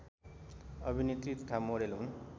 अभिनेत्री तथा मोडेल हुन